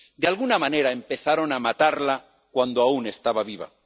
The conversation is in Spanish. de alguna manera, empezaron a matarla cuando aún estaba viva.